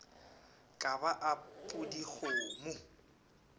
ka ba a pudi kgomo